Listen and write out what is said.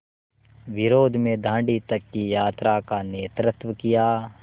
विरोध में दाँडी तक की यात्रा का नेतृत्व किया